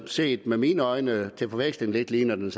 set med mine øjne til forveksling ligner det